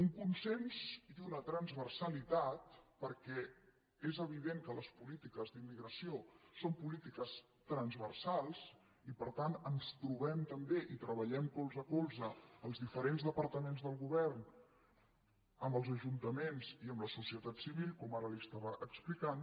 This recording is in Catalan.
un consens i una transversalitat perquè és evident que les polítiques d’immigració són polítiques transversals i per tant ens trobem també i treballem colze a colze els diferents departaments del govern amb els ajuntaments i amb la societat civil com ara li estava explicant